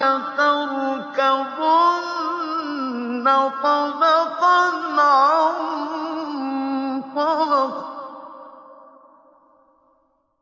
لَتَرْكَبُنَّ طَبَقًا عَن طَبَقٍ